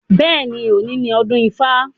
Bẹ́ẹ̀ni, òní ni ọdún ifá.